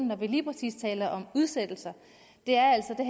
når vi lige præcis taler om udsættelser er altså at